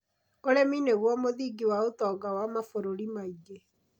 Ũrĩmi nĩguo mũthingi wa ũtonga wa mabũrũri maingĩ.